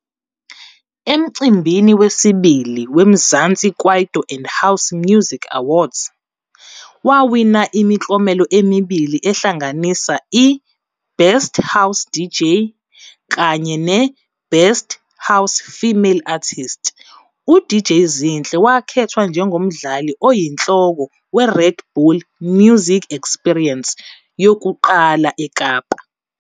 Emcimbini wesibili we-Mzansi Kwaito and House Music Awards, wawina imiklomelo emibili ehlanganisa, i-Best House DJ kanye ne-Best House Female Artist. U-DJ Zinhle wakhethwa njengomdlali oyinhloko we-Red Bull Music Experience yokuqala eKapa.